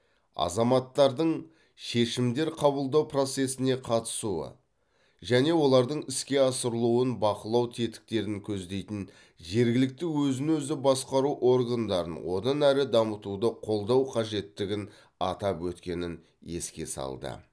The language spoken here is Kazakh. азаматтардың шешімдер қабылдау процесіне қатысуы және олардың іске асырылуын бақылау тетіктерін көздейтін жергілікті өзін өзі басқару органдарын одан әрі дамытуды қолдау қажеттігін атап өткенін еске салды